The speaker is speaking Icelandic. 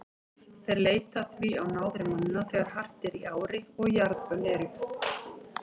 Þeir leita því á náðir manna þegar hart er í ári og jarðbönn eru.